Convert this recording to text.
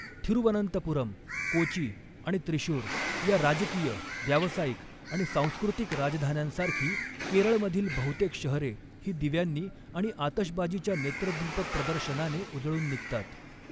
थिरुवनंतपुरम, कोची आणि त्रिशूर या राजकीय, व्यावसायिक आणि सांस्कृतिक राजधान्यांसारखी केरळमधील बहुतेक शहरे ही दिव्यांनी आणि आतषबाजीच्या नेत्रदीपक प्रदर्शनाने उजळून निघतात.